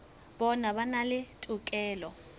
bona ba na le tokelo